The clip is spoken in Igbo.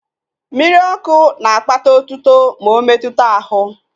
Mmiri ọkụ na akpatala otuto ma ometuta ahụ